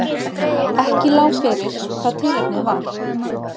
Ekki lá fyrir hvað tilefnið var